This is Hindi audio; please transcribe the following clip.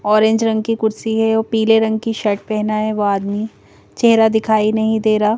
ऑरेंज रंग की कुर्सी है और पीले रंग की शर्ट पहना है वो आदमी चेहरा दिखाई नहीं दे रहा।